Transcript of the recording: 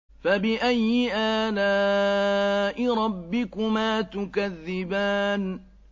فَبِأَيِّ آلَاءِ رَبِّكُمَا تُكَذِّبَانِ